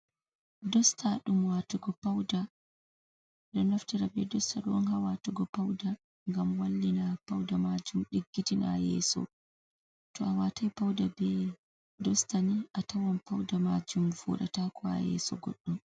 Dosta ɗum watugo pawda. Ɗum ɗo naftira be dosta ɗo on ha watugo pawda, ngam wallina pawda majum diggitina yeso. To a watay pawda be dosta ni, atawan pawda majum voɗata ko ha yeso goɗɗo.